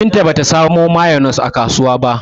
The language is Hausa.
Binta ba ta samo mayonis a kasuwa ba.